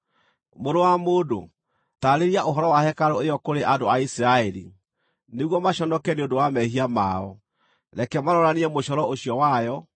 “Mũrũ wa mũndũ, taarĩria ũhoro wa hekarũ ĩyo kũrĩ andũ a Isiraeli, nĩguo maconoke nĩ ũndũ wa mehia mao. Reke maroranie mũcoro ũcio wayo,